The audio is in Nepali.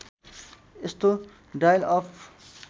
यस्तो डायल अप